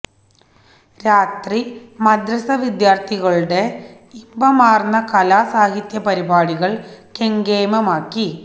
രാത്രി മദ്റസ വിദ്യാര്ഥികളുടെ ഇമ്പമാര്ന്ന കലാ സാഹിത്യ പരിപാടികള് കെങ്കേമമാക്കി